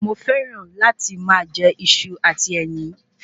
Mo fẹràn láti máa jẹ Iṣu àti ẹyin